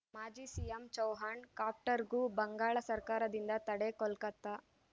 ಮಾಜಿ ಸಿಎಂ ಚೌಹಾಣ್‌ ಕಾಪ್ಟರ್‌ಗೂ ಬಂಗಾಳ ಸರ್ಕಾರದಿಂದ ತಡೆ ಕೋಲ್ಕತ್ತಾ